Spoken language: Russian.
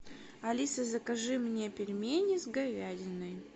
алиса закажи мне пельмени с говядиной